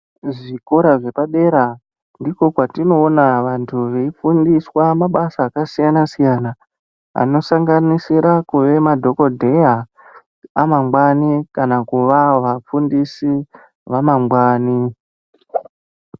Kuzvikora zvepadera ndiko kwatinoona vantu veifundiswa mabasa akasiyana- siyana anosanganisira kuve madhokodheya amangwani kana kuva vafundisi vamangwani .